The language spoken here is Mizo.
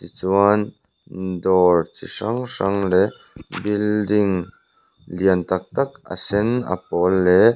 chuan dawr chi hrang hrang leh building lian tak tak a sen a pawl leh--